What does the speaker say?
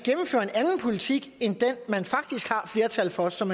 politik end den man faktisk har flertal for som